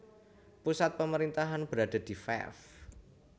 Pusat pemerintahan berada di Fef